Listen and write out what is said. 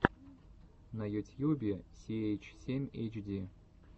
на ютьюбе си эйч семь эйч ди